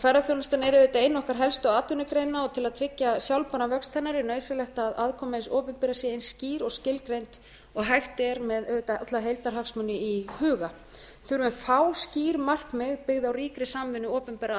ferðaþjónustan en auðvitað ein okkar helstu atvinnugreina til að tryggja sjálfbæran vöxt hennar er nauðsynlegt að aðkoma hins opinbera sé eins skýr og skilgreind og hægt er með auðvitað alla heildarhagsmuni í huga við þurfum fá skýr markmið byggð á ríkri samvinnu opinberra